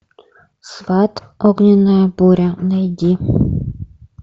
сват огненная буря найди